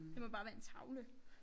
Det må bare være en tavle